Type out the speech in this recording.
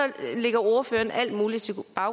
lægger ordføreren alt muligt til